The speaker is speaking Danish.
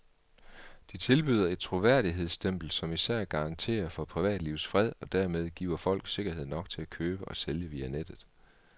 De tilbyder et troværdighedsstempel, som især garanterer for privatlivets fred og dermed giver folk sikkerhed nok til at købe og sælge via nettet.